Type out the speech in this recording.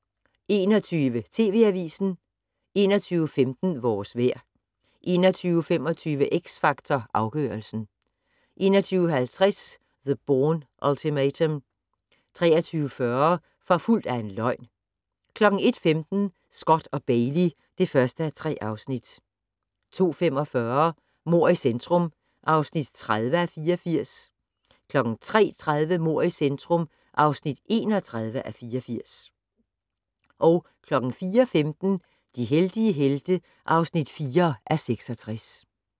21:00: TV Avisen 21:15: Vores vejr 21:25: X Factor Afgørelsen 21:50: The Bourne Ultimatum 23:40: Forfulgt af en løgn 01:15: Scott & Bailey (1:3) 02:45: Mord i centrum (30:84) 03:30: Mord i centrum (31:84) 04:15: De heldige helte (4:66)